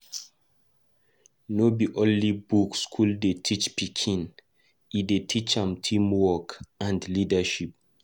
No be only book school dey teach pikin, e dey teach am teamwork and leadership.